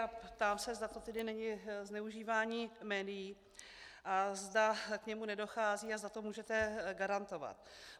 A ptám se, zda to tedy není zneužívání médií a zda k němu nedochází a zda to můžete garantovat.